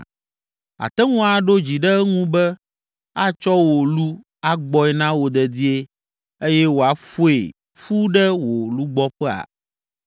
Àte ŋu aɖo dzi ɖe eŋu be atsɔ wò lu agbɔe na wò dedie eye wòaƒoe ƒu ɖe wò lugbɔƒea?